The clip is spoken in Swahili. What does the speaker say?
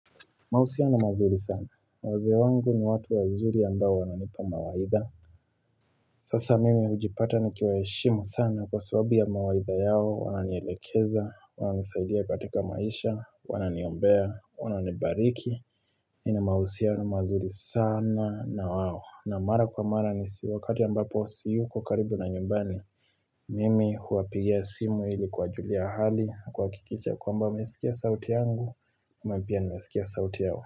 Mahusiano mazuri sana. Wazee wangu ni watu wazuri ambao wananipa mawaidha. Sasa mimi hujipata ni kiwaheshimu sana kwa sababu ya mawaidha yao. Wananielekeza, wananisaidia katika maisha, wananiombea, wananibariki. Nina mahusia na mazuri sana na wao. Na mara kwa mara ni wakati ambapo siyuko karibu na nyumbani. Mimi huwapigia simu ili kuwajulia hali na kuhakikisha kwamba wamesikia sauti yangu. Mimi pia nimesikia sauti yao.